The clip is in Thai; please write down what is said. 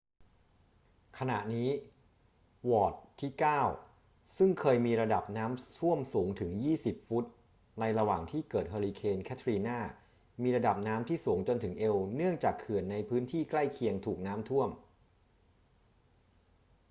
ขณะนี้ วอร์ดที่เก้าซึ่งเคยมีระดับน้ำท่วมสูงถึง 20 ฟุตในระหว่างที่เกิดเฮอร์ริเคนแคทรีนามีระดับน้ำที่สูงจนถึงเอวเนื่องจากเขื่อนในพื้นที่ใกล้เคียงถูกน้ำท่วม